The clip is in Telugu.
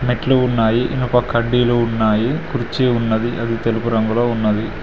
మెట్లు ఉన్నాయి ఇనుప కడ్డీలు ఉన్నాయి కుర్చీ ఉన్నది అది తెలుపు రంగులో ఉన్నది.